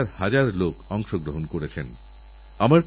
আপনি এর প্রতি নিশ্চয়ই নজর দেবেন